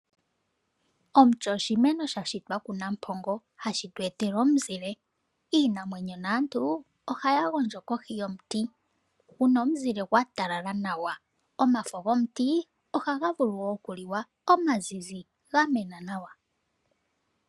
Omuti oshimeno sha shitwa kunampongo hashi tu etele omuzile. Iinamwenyo naantu ohaya gondjo kohi yomuti, kuna omuzile gwa talala nawa . Omafo gomuti ohaga vulu okuliwa, omazizi gamena nawa.